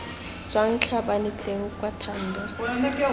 tswang tlhabane teng kwa thando